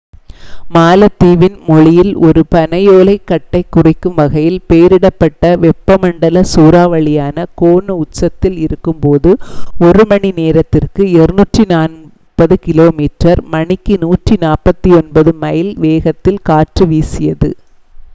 மாலத்தீவின் மொழியில் ஒரு பனையோலைக் கட்டைக் குறிக்கும் வகையில் பெயரிடப்பட்ட வெப்பமண்டல சூறாவளியான கோனு உச்சத்தில் இருக்கும் போது ஒரு மணிநேரத்திற்கு 240 கிலோமீட்டர் மணிக்கு 149 மைல் வேகத்தில் காற்று வீசியது